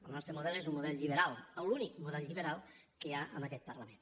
el nostre model és un model lliberal l’únic model lliberal que hi ha en aquest parlament